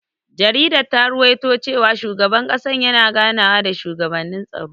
Jaridar ta rawaito cewa shugaban ƙasar yana ganawa da shugabannin tsaro.